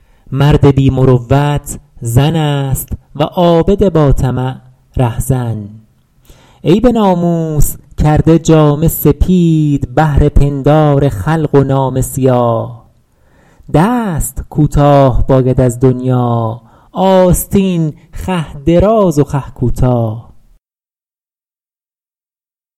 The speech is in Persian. مرد بی مروت زن است و عابد با طمع رهزن ای به ناموس کرده جامه سپید بهر پندار خلق و نامه سیاه دست کوتاه باید از دنیا آستین خوه دراز و خوه کوتاه